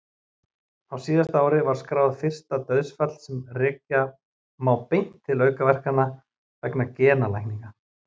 Á síðasta ári var skráð fyrsta dauðsfall sem má rekja beint til aukaverkana vegna genalækninga.